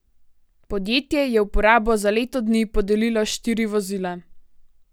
Podjetje je v uporabo za leto dni podelilo štiri vozila.